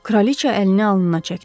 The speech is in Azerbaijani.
Kraliçə əlini alnına çəkdi.